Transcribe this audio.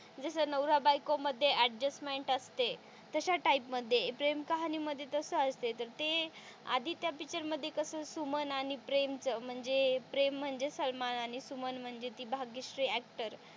जस नवरा बायको मध्ये अडजस्टमेन्ट असते तशा टाईप मध्ये प्रेम कहाणी मध्ये तस असते तर ते आधी च्या पिक्चर मध्ये कस सुमन आणि प्रेम च म्हणजे प्रेम म्हणजे सलमान आणि सुमन म्हणजे ती भाग्यश्री ऍक्टर